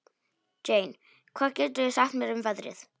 Jane, hvað geturðu sagt mér um veðrið?